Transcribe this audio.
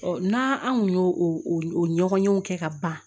n'an an kun y'o o ɲɔgɔn kɛ ka ban